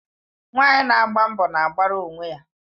Nwanyị na agba mbọ na-agbara onwe ya.